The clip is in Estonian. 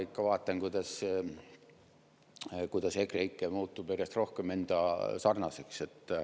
Ma ikka vaatan, kuidas EKREIKE muutub järjest rohkem enda sarnaseks.